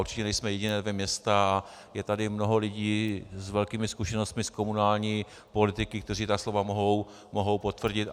Určitě nejsme jediná dvě města, je tady mnoho lidí s velkými zkušenostmi z komunální politiky, kteří ta slova mohou potvrdit.